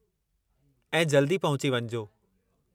ऐं जल्दी पहुची वञिजो।